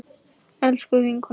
Elsku vinkona mín.